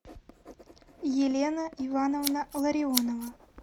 елена ивановна ларионова